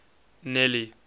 nelly